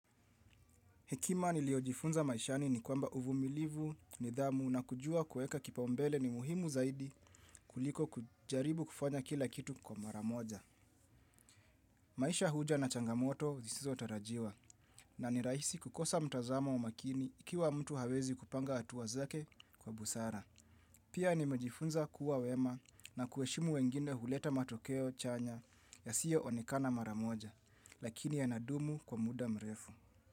Hekima niliojifunza maishani ni kwamba uvumilivu, nidhamu na kujua kueka kipao mbele ni muhimu zaidi kuliko kujaribu kufanya kila kitu kwa mara moja. Maisha huja na changamoto zisizo tarajiwa na ni rahisi kukosa mtazamo wa makini ikiwa mtu hawezi kupanga hatua zake kwa busara. Pia nimejifunza kuwa wema na kuheshimu wengine huleta matokeo chanya yasio onekana mara moja lakini yana dumu kwa muda mrefu.